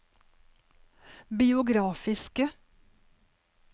biografiske